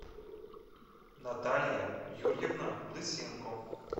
наталья юрьевна лысенко